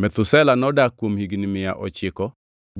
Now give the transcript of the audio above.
Methusela nodak kuom higni mia ochiko